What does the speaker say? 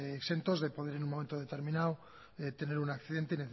exentos de en un momento determinado tener un accidente